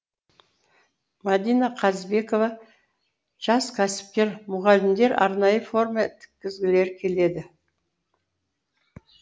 мадина қазыбекова жас кәсіпкер мұғалімдер арнайы форма тіккізгілері келеді